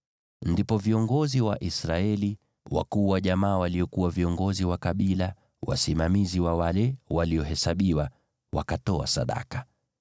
Ndipo viongozi wa Israeli, wale wakuu wa jamaa waliokuwa viongozi wa kabila wasimamizi wa wale waliohesabiwa, wakatoa sadaka.